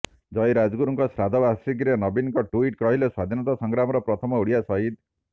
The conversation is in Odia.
ଜୟୀ ରାଜଗୁରୁଙ୍କ ଶ୍ରାଦ୍ଧ ବାର୍ଷିକୀରେ ନବୀନଙ୍କ ଟ୍ୱିଟ୍ କହିଲେ ସ୍ୱାଧୀନତା ସଂଗ୍ରାମର ପ୍ରଥମ ଓଡ଼ିଆ ସହିଦ